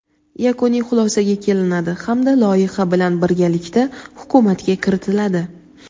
yakuniy xulosaga kelinadi hamda loyiha bilan birgalikda Hukumatga kiritiladi.